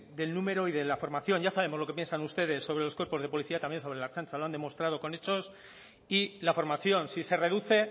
del número y de la formación ya sabemos lo que piensan ustedes sobre los cuerpos de policía también sobre la ertzaintza lo han demostrado con hechos y la formación si se reduce